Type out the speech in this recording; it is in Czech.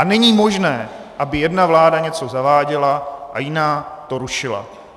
A není možné, aby jedna vláda něco zaváděla a jiná to rušila.